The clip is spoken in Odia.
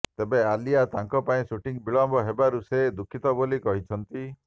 ତେବେ ଆଲିଆ ତାଙ୍କ ପାଇଁ ସୁଟିଂ ବିଳମ୍ବ ହେବାରୁ ସେ ଦୁଃଖିତ ବୋଲି କହିଛନ୍ତି